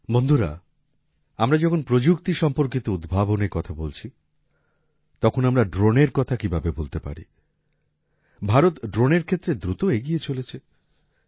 বন্ধুরা আমরা যখন প্রযুক্তি সম্পর্কিত উদ্ভাবনের কথা বলছি তখন আমরা ড্রোনের কথা কীভাবে ভুলতে পারি ভারত ড্রোনের ক্ষেত্রে দ্রুত এগিয়ে চলেছে